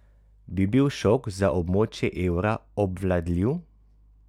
Bi bil šok za območje evra obvladljiv?